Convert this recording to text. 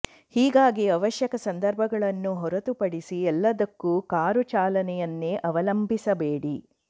ಹೀಗಾಗಿ ಅವಶ್ಯಕ ಸಂದರ್ಭಗಳನ್ನು ಹೊರತುಪಡಿಸಿ ಎಲ್ಲದಕ್ಕೂ ಕಾರು ಚಾಲನೆಯನ್ನೇ ಅವಲಂಬಿಸಬೇಡಿ